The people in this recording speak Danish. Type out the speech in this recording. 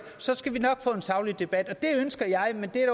så skal vi nok få en saglig debat det ønsker jeg men det er